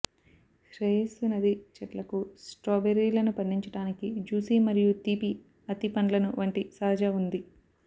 శ్రేయస్సు నది చెట్లకు స్ట్రాబెర్రీలను పండించటానికి జూసీ మరియు తీపి అత్తి పండ్లను వంటి సహజ ఉంది